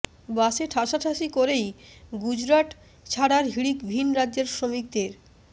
বাসে ঠাসাঠাসি করেই গুজরাট ছাড়ার হিড়িক ভিন রাজ্যের শ্রমিকদের